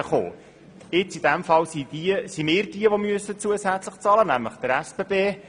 In diesem Fall sind wir diejenigen, die zusätzlich zahlen müssen, nämlich der SBB.